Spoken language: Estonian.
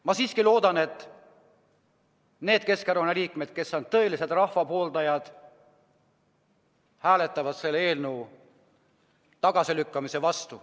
Ma siiski loodan, et need Keskerakonna liikmed, kes on tõelised rahva pooldajad, hääletavad selle eelnõu tagasilükkamise vastu.